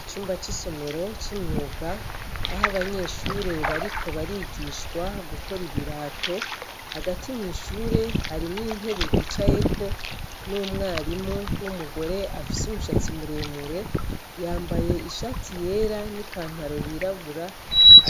Icumba c' isomero c' imyuga aho abanyeshuri bariko barigishwa gukora ibirato hagati mwishuri harimwo intebe bicayeko n' umwarimu w' umugore afise umushatsi muremure yambaye ishati yera n' ipantaro y' irabura